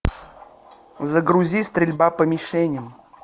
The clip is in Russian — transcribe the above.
загрузи стрельба по мишеням